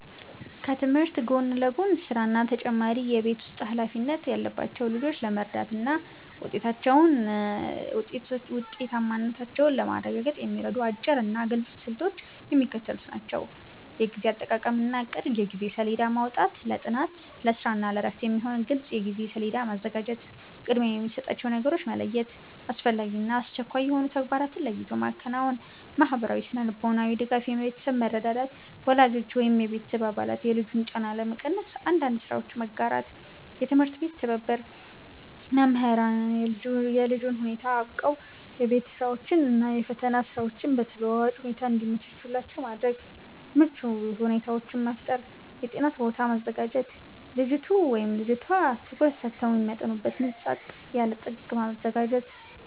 ከትምህርት ጎን ለጎን ስራ እና ተጨማሪ የቤት ውስጥ ኃላፊነት ያለባቸውን ልጆች ለመርዳትና ውጤታማነታቸውን ለማረጋገጥ የሚረዱ አጭርና ግልጽ ስልቶች የሚከተሉት ናቸው፦ የጊዜ አጠቃቀምና እቅድ የጊዜ ሰሌዳ ማውጣት፦ ለጥናት፣ ለስራ እና ለእረፍት የሚሆን ግልጽ የጊዜ ሰሌዳ ማዘጋጀት። ቅድሚያ የሚሰጣቸውን ነገሮች መለየት፦ አስፈላጊና አስቸኳይ የሆኑ ተግባራትን ለይቶ ማከናወን። ማህበራዊና ስነ-ልቦናዊ ድጋፍ የቤተሰብ መረዳዳት፦ ወላጆች ወይም የቤተሰብ አባላት የልጁን ጫና ለመቀነስ አንዳንድ ስራዎችን መጋራት። የትምህርት ቤት ትብብር፦ መምህራን የልጁን ሁኔታ አውቀው የቤት ስራዎችን እና የፈተና ጊዜዎችን በተለዋዋጭ ሁኔታ እንዲያመቻቹላቸው ማድረግ። ምቹ ሁኔታዎችን መፍጠር የጥናት ቦታ ማዘጋጀት፦ ልጅቱ/ቷ ትኩረት ሰጥተው የሚያጠኑበት ጸጥ ያለ ጥግ ማዘጋጀት።